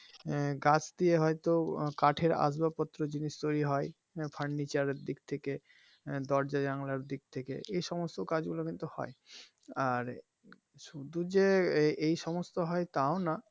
আহ গাছ দিয়ে হয়তো কাঠের আসবাব পত্র জিনিস তৈরি হয় furniture দিক থেকে আহ দরজা জানলার দিক থেকে এই সমস্ত কাজগুলো কিন্তু হয় আর শুধু যে এই সমস্ত হয় তাও না,